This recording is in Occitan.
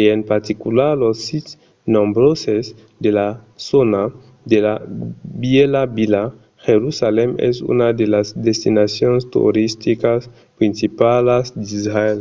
e en particular los sits nombroses de la zòna de la vièlha vila jerusalèm es una de las destinacions toristicas principalas d'israèl